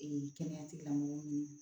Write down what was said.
Ee kɛnɛya tigilamɔgɔw